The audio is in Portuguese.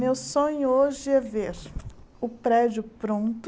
Meu sonho hoje é ver o prédio pronto,